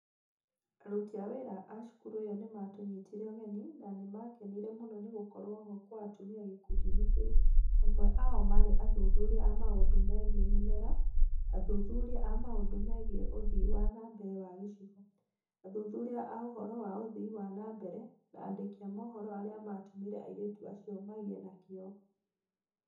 Aruti a wĩra a cukuru ĩyo nĩ maatũnyitire ũgeni na nĩ maakenire mũno nĩ gũkorũo ho kwa atumia gĩkundi-inĩ kĩu, amwe ao maarĩ athuthuria a maũndũ megiĩ mĩmera, athuthuria a maũndũ megiĩ ũthii wa na mbere wa gĩcigo, athuthuria a ũhoro wa ũthii wa na mbere, na andĩki a mohoro arĩa maatũmire airĩtu acio magĩe na kĩyo.